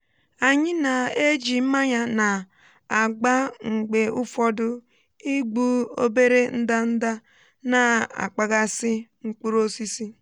anyị na-eji mmanya na-agba mgbe ụfọdụ igbu obere ndanda na-akpaghasị mkpụrụ osisi.